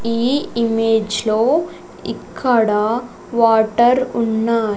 ఈ ఇమేజ్ లో ఇక్కడ వాటర్ ఉన్నాయి.